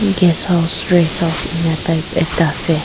Guest house rest house enia type ekta ase.